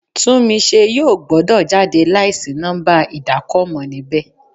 Túnmise yóò gbọ́dọ̀ jáde láì sí nọ́ḿbà ìdákọ̀mọ̀ níbẹ̀.